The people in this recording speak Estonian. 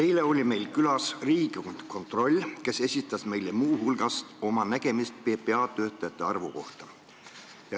Eile oli meil külas Riigikontroll, kes esitas meile muu hulgas oma nägemuse PPA töötajate arvu kohta.